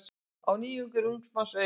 Á nýjungum er ungs manns augað.